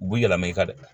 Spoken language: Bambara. U b'i yɛlɛma i ka dɛ